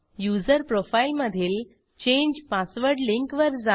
user profile मधील change password link वर जा